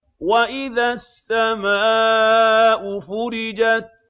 وَإِذَا السَّمَاءُ فُرِجَتْ